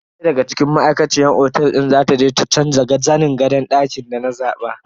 Daya daga cikin ma'aikaciyar otel din za ta je ta canza zanin gadon dakin da na zaba.